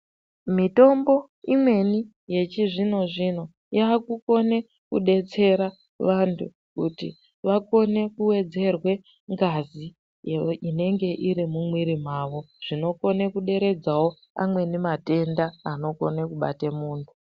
Mitombo imweni yechizvino zvino, yakukone kubetsera vantu kuti vakone kuwedzerwe ngazi iyo inenge irimumwiri mavo. Zvinokone kuderedzawo amweni matenda anokone kubate munhu.